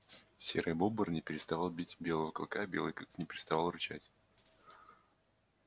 серый бобр не переставал бить белого клыка белый клык не переставал рычать